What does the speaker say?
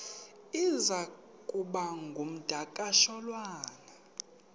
iza kuba ngumdakasholwana